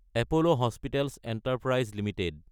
Apollo hospitals enterprise Ltd